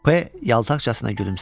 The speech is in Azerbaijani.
P yaltaqcasına gülümsədi.